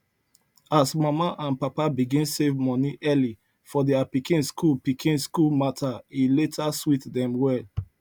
as mama and papa begin save money early for their pikin school pikin school matter e later sweet them well